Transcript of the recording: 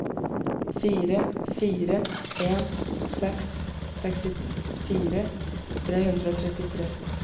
fire fire en seks sekstifire tre hundre og trettitre